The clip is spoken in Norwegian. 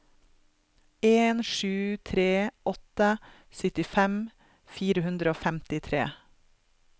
en sju tre åtte syttifem fire hundre og femtitre